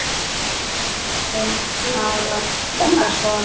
Hún vill hafa þetta svona.